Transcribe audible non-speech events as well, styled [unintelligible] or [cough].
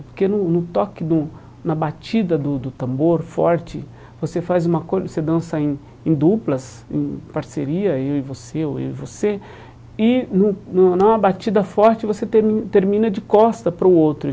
Porque no no toque de um, na batida do do tambor forte, você faz uma [unintelligible] você dança em em duplas, em parceria, eu e você, ou eu e você, e num [unintelligible] numa batida forte você termi termina de costas para o outro.